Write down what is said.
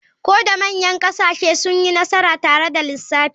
Ko da manyan ƙasashe sun yi nasara tare da lissafin.